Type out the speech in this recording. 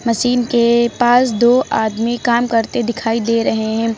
Machine के पास दो आदमी काम करते दिखाई दे रहे हैं।